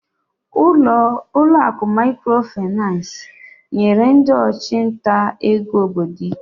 Ụlọ akụ Microfinance nyere ndị ọchụnta ego obodo ike.